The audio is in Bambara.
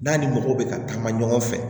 N'a ni mɔgɔw bɛ ka taama ɲɔgɔn fɛ